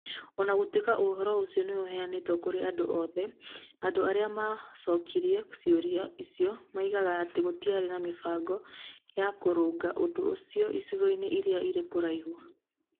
O na gũtuĩka ũhoro ũcio nĩ ũheanĩtwo kũrĩ andũ othe, andũ arĩa maacokirie ciũria icio moigaga atĩ gũtiarĩ na mĩbango ya kũrũnga ũndũ ũcio icigo-inĩ iria irĩ kũraya.